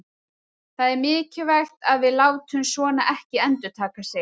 Það er mikilvægt að við látum svona ekki endurtaka sig.